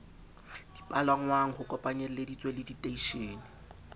dipalangwang ho kopanyelleditswe le diteishene